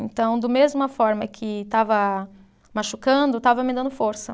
Então, do mesma forma que estava machucando, estava me dando força.